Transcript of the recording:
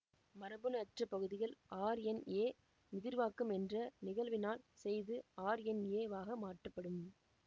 மரபணு அற்ற பகுதிகள் ஆர்என்எ முதிர்வாக்கம் என்ற நிகழ்வினால் செய்தி ஆர்என்எ வாக மாற்றப்படும்